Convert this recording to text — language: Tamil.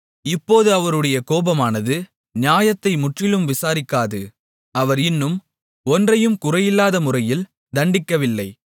இப்போது அவருடைய கோபமானது நியாயத்தை முற்றிலும் விசாரிக்காது அவர் இன்னும் ஒன்றையும் குறையில்லாத முறையில் தண்டிக்கவில்லை